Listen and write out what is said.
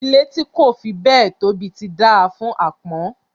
Ilé tí kò fi béẹ̀ tóbi ti dáa fún àpọ́n